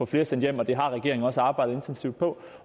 flere sendt hjem og det har regeringen også har arbejdet intensivt på